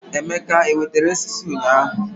Emeke ewetere osisi ụnyaahụ?